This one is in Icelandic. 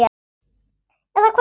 Eða hvað.